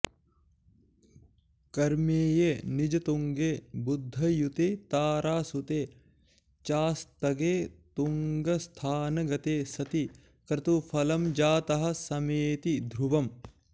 कर्मेये निजतुङ्गे बुधयुते तारासुते चास्तगे तुङ्गस्थानगते सति क्रतुफलं जातः समेति ध्रुवम्